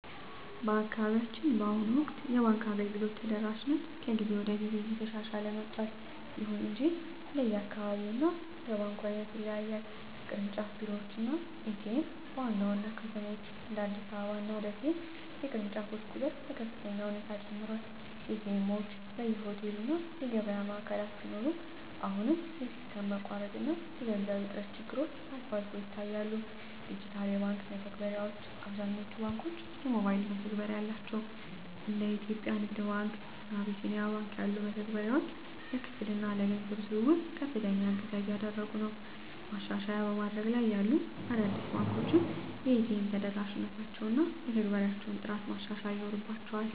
በአካባቢያችን በአሁኑ ወቅት የባንክ አገልግሎት ተደራሽነት ከጊዜ ወደ ጊዜ እየተሻሻለ መጥቷል። ይሁን እንጂ እንደየአካባቢው እና እንደ ባንኩ ዓይነት ይለያያል። ቅርንጫፍ ቢሮዎች እና ኤ.ቲ.ኤም (ATM): በዋና ዋና ከተሞች (እንደ አዲስ አበባ እና ደሴ) የቅርንጫፎች ቁጥር በከፍተኛ ሁኔታ ጨምሯል። ኤ.ቲ. ኤምዎች በየሆቴሉ እና የገበያ ማዕከላት ቢኖሩም፣ አሁንም የሲስተም መቋረጥ እና የገንዘብ እጥረት ችግሮች አልፎ አልፎ ይታያሉ። ዲጂታል የባንክ መተግበሪያዎች: አብዛኞቹ ባንኮች የሞባይል መተግበሪያ አላቸው። እንደ የኢትዮጵያ ንግድ ባንክ (CBE Birr) እና አቢሲኒያ ባንክ (Apollo) ያሉ መተግበሪያዎች ለክፍያ እና ለገንዘብ ዝውውር ከፍተኛ እገዛ እያደረጉ ነው። ማሻሻያ በማደግ ላይ ያሉ አዳዲስ ባንኮች የኤ.ቲ.ኤም ተደራሽነታቸውን እና የመተግበሪያዎቻቸውን ጥራት ማሻሻል ይኖርባ